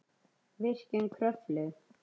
Virkjun Kröflu